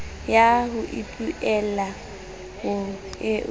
ya ho ipuella ho eo